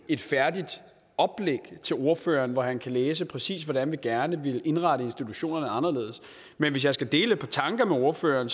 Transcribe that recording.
et færdigt oplæg til ordføreren hvor han kan læse præcis hvordan vi gerne vil indrette institutionerne anderledes men hvis jeg skal dele et par tanker med ordføreren